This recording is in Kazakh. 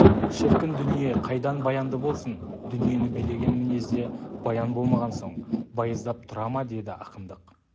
шіркін дүние қайдан баянды болсын дүниені билеген мінезде баян болмаған соң байыздап тұра ма деді ақындық